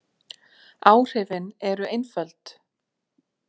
Áhrifin eru einföld.